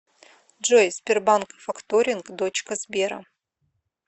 джой сбербанк факторинг дочка сбера